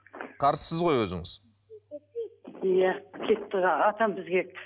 қарсысыз ғой өзіңіз иә кетті атам